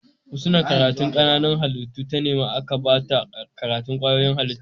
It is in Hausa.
Husna karatun Kananan halittu ta nema aka bata karatun kwayoyin halitta